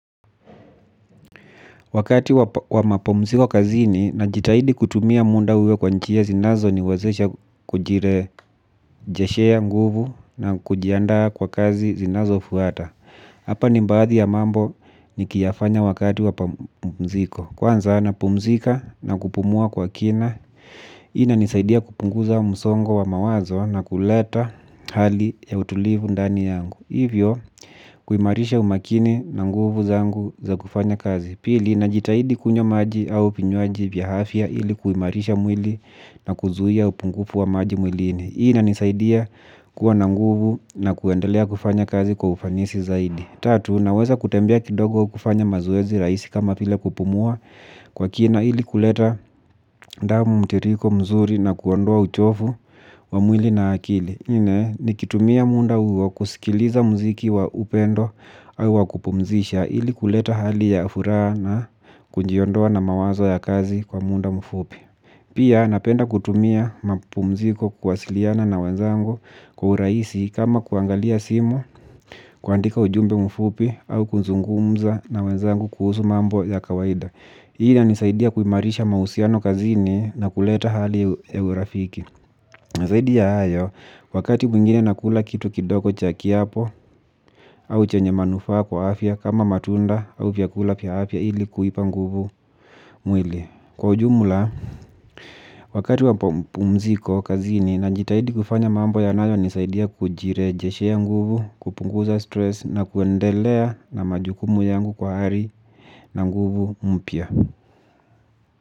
Wakati wa mapumziko kazini najitahidi kutumia muda huo kwa njia zinazo niwezesha kujirejeshea nguvu na kujiandaa kwa kazi zinazofuata. Hapa ni baadhi ya mambo nikiyafanya wakati wa mapumziko. Kwanza napumzika na kupumua kwa kina, hii inanisaidia kupunguza msongo wa mawazo na kuleta hali ya utulivu ndani yangu. Hivyo kuimarisha umakini na nguvu zangu za kufanya kazi. Pili, najitahidi kunywa maji au vinywaji vya afya ili kuimarisha mwili na kuzuia upungufu wa maji mwilini. Hii inanisaidia kuwa na nguvu na kuendelea kufanya kazi kwa ufanisi zaidi. Tatu, naweza kutembea kidogo kufanya mazoezi rahisi kama vile kupumua kwa kina ili kuleta damu mtiririko mzuri na kuondoa uchovu wa mwili na akili. Nne, nikitumia muda huo kusikiliza muziki wa upendo au wakupumzisha ili kuleta hali ya furaha na kujiondoa na mawazo ya kazi kwa muda mfupi. Pia napenda kutumia mapumziko kuwasiliana na wenzangu kwa urahisi kama kuangalia simu, kuandika ujumbe mfupi, au kuzungumza na wenzangu kuhusu mambo ya kawaida. Hii inanisaidia kuimarisha mahusiano kazini na kuleta hali ya urafiki. Na zaidi ya hayo, wakati mwingine nakula kitu kidogo cha kiapo au chenye manufaa kwa afya kama matunda au vyakula vya afya ili kuipa nguvu mwili. Kwa ujumla, wakati wa mapumziko kazini najitahidi kufanya mambo yanayo nisaidia kujirejeshea nguvu, kupunguza stress na kuendelea na majukumu yangu kwa hali na nguvu mpya.